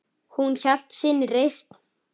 Hún hélt sinni reisn.